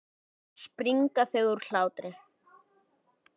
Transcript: Aftur springa þau úr hlátri.